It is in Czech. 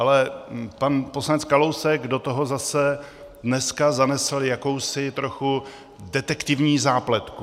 Ale pan poslanec Kalousek do toho zase dneska zanesl jakousi trochu detektivní zápletku.